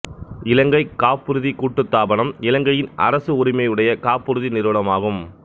இலங்கைக் காப்புறுதிக் கூட்டுத்தாபனம் இலங்கையின் அரச உரிமையுடைய காப்புறுதி நிறுவனமாகும்